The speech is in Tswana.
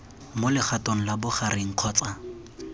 mo legatong la bogareng kgotsa